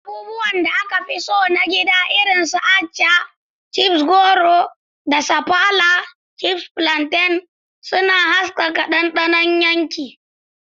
Abubuwan da aka fi so na gida irin su Abacha (chips rogo) da Sapala (chips plantain) suna haskaka dandanon yanki.